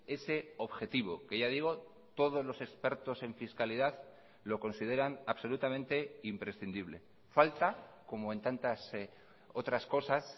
ese objetivo que ya digo todos los expertos en fiscalidad lo consideran absolutamente imprescindible falta como en tantas otras cosas